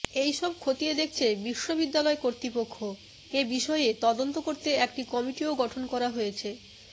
এই সব খতিয়ে দেখছে বিশ্ববিদ্যালয় কর্তৃপক্ষ এ বিষয়ে তদন্ত করতে একটি কমিটিও গঠন করা হয়েছে